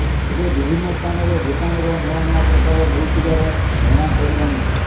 ଏବେ ବିଭିନ୍ନ ସ୍ଥାନରେ ଭୂତାଣୁର ନୂଆନୂଆ ପ୍ରକାର ମିଳୁଥିବାର ଜଣାପଡିଲାଣି